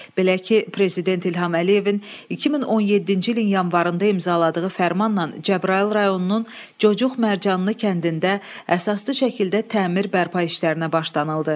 Belə ki, prezident İlham Əliyevin 2017-ci ilin yanvarında imzaladığı fərmanla Cəbrayıl rayonunun Cocuq Mərcanlı kəndində əsaslı şəkildə təmir bərpa işlərinə başlanıldı.